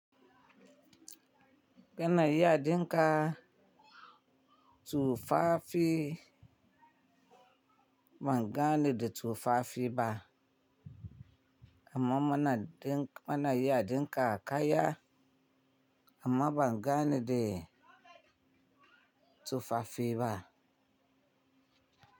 Kana iya ɗinka tufafi bangane da tufafi ba, amma muna iya ɗinka kaya amma bangane da tufafi ba.